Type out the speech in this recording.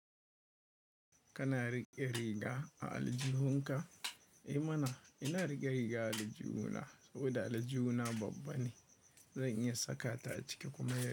Kana riƙe riga a aljihunka? Eh mana ina riƙe riga aljihu na saboda aljihuna babba ne. Zan iya saka ta a ciki kuma yana.